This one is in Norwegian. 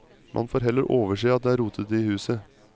Man får heller overse at det er rotete i huset.